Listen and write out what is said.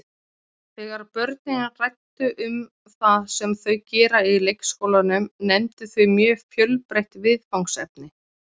Þegar börnin ræddu um það sem þau gera í leikskólanum nefndu þau mjög fjölbreytt viðfangsefni.